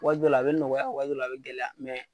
Waati dɔ la a bɛ nɔgɔya waati dɔ la a bɛ gɛlɛya